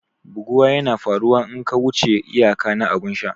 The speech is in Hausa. Buguwa yana faruwa in ka wuce iyaka na abun sha.